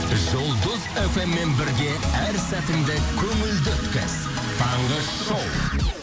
жұлдыз фм мен бірге әр сәтіңді көңілді өткіз таңғы шоу